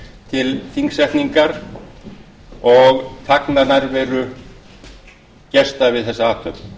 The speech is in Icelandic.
til þingsetningar og fagna nærveru gesta við þessa athöfn